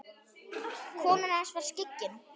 Konan hans var skyggn.